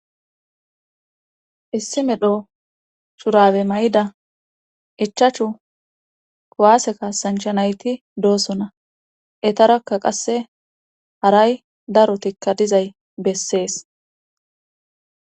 issi medho shurabe may7ida ichachu kowaase kasanchanayti doosona etarakka qasse haray darotikka dizay bessees